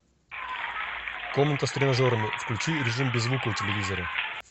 комната с тренажерами включи режим без звука у телевизора